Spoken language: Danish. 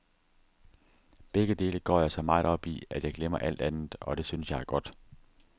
Begge dele går jeg så meget op i, at jeg glemmer alt andet, og det synes jeg er godt.